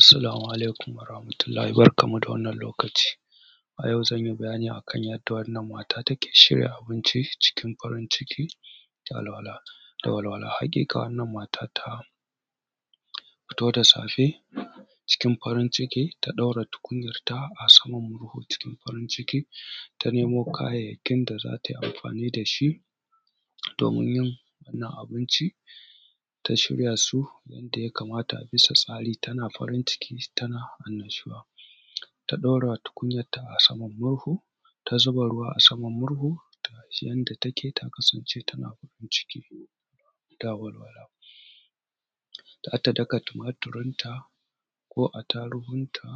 Assalamu alaikum warahamatullahi barkammu da wannan lokaci. A yau zanyi bayani akan yadda wannan mata take shirya abinci cikin farin ciki da walwala. Haƙiƙa wannan mata ta fito da safe ta ɗaura abinci cikin farin ciki ta ɗaura tukunyanta a saman murhu cikin farin ciki ta nemo kayayyakin da zata yi amfani da shi domin yin wannan abincin ta shirya su inda ya kamata da sassafe tana farin ciki tana annashuwa. Ta ɗora tukunyan a saman murhu ta zuba ruwa a saman murhu taci gaba tana son ta kasance cikin walwala. Hada daka tumaturinta ko attarugunta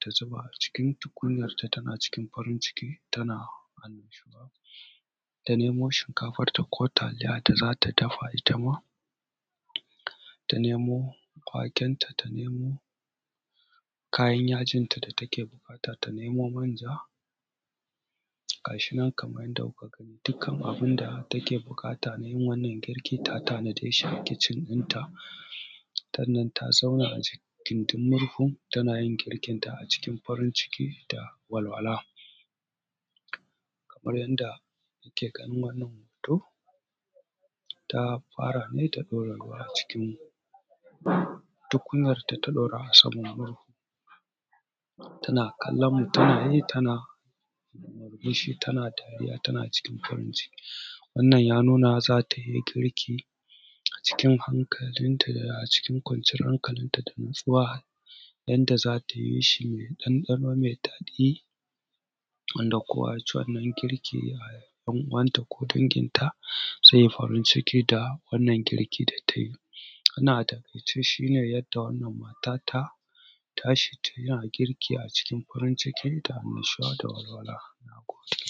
ta zuba a cikin tukunyan tana farin ciki da walwala, ta nemo shinkafanta ko taliya da zata dafa, itama ta nemo wake nata, ta nemo kayan jinta da take buƙata, ta nemo manja. Ga shi nan kamar yadda kuke gani dukkan abin da take buƙata don yin wannan girkin ta tanaje shi a cikin kicin ɗinta. Sannan ta zauna a cikin gindin murhu tana yin girkinta a cikin farin ciki da walwala. Kamar yadda kuke ganin wannan hoto ta fara ne da ɗora ruwan a cikin tukunyarta ta ɗora saman murhu tana kallon mutane tana murmushi tana yi tana cikin farin ciki. Wannan ya nuna zatai girki cikin hankalinta da cikin kwanciyar hankalinta da natsuwa yadda zata yi shi da ɗanɗano mai daɗi wanda kowa yaci wannan girkin a ’yan uwanta ko danginta zai farin ciki da wannan girki da tayi. Wannan a takaice shine yadda wannan mata ta tashi tana girki a cikin farin ciki da annashuwa da walwala. Nagode.